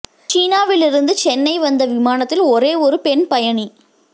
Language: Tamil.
சீனாவில் இருந்து சென்னை வந்த விமானத்தில் ஒரே ஒரு பெண் பயணி